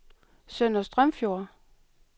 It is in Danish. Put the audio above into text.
Sønder Strømfjord